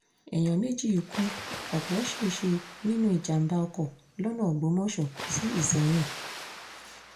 èèyàn méjì ku ọ̀pọ̀ ṣẹ̀ṣẹ̀ nínú ìjàǹbá ọkọ̀ lọ́nà ògbómọṣọ sí ìsẹ̀yìn